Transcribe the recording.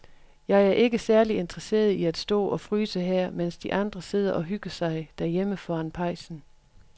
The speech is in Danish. Jeg er ikke særlig interesseret i at stå og fryse her, mens de andre sidder og hygger sig derhjemme foran pejsen.